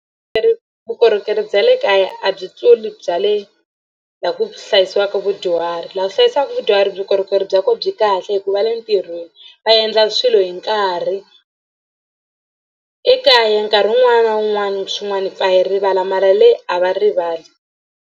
vukorhokeri bya le kaya a byi tluli bya le laha ku hlayisiwaka vudyuhari laha ku hlayisaka vudyuhari vukorhokeri bya kona byi kahle hi ku va le ntirhweni va endla swilo hi nkarhi. Ekaya nkarhi wun'wani na wun'wani swin'wana hi pfa hi rivala mara le a va rivali.